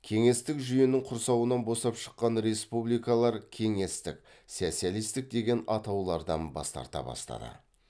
кеңестік жүйенің құрсауынан босап шыққан республикалар кеңестік социалистік деген атаулардан бас тарта бастады